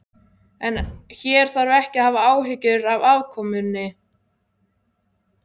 En hér þarf ekki að hafa áhyggjur af afkomunni.